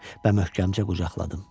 Və möhkəmcə qucaqladım.